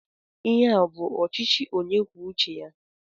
Ihe a ọ bụ ọchịchị onye kwuo uche ya?